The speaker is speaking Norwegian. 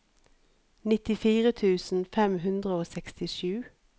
nittifire tusen fem hundre og sekstisju